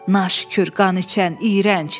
Naşükür, qaniçən, iyrənc!